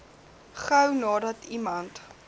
gou nadat iemand